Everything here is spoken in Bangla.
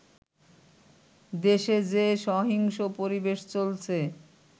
দেশে যে সহিংস পরিবেশ চলছে